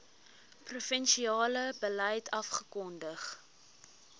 provinsiale beleid afgekondig